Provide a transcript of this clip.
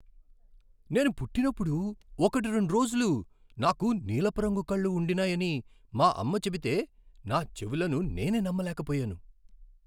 నేను పుట్టినప్పుడు ఒకట్రెండు రోజులు నాకు నీలపు రంగు కళ్ళు ఉండినాయని మా అమ్మ చెబితే నా చెవులను నేనే నమ్మలేకపోయాను.